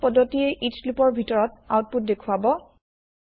পুতছ পদ্ধতিয়ে each loop ৰ ভিতৰত আউতপুত দেখুৱাব